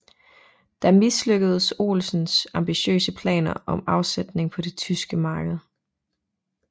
Der mislykkedes Olsens ambitiøse planer om afsætning på det tyske marked